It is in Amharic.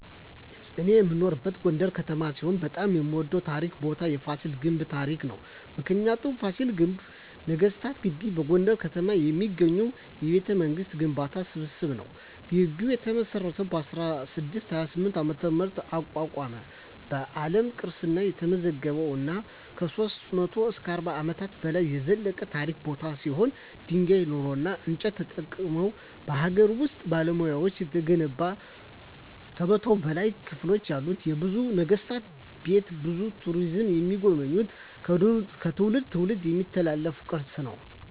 እኔ የምኖርበት ጎንደር ከተማ ሲሆን በጣም የምወደው ታሪካዊ ቦታ የፋሲለደስ ግንብ ታሪክ ነው። ምክንያቱ : ፋሲል ግንብ ወይም ነገስታት ግቢ በጎንደር ከተማ የሚገኝ የቤተመንግስታት ግንቦች ስብስብ ነው። ግቢው የተመሰረተው በ1628 ዓ.ም አቋቋመ በአለም ቅርስነት የተመዘገበ እና ከ300-400 አመታት በላይ የዘለቀ ታሪካዊ ቦታ ሲሆን ድንጋይ ,ኖራና እንጨት ተጠቅመው በሀገር ውስጥ ባለሙያዎች የተገነባ ከ100 በላይ ክፍሎች ያሉትና የብዙ ነገስታት ቤት ብዙ ቱሪስቶች የሚጎበኙት ከትውልድ ትውልድ የሚተላለፍ ቅርስ ነው።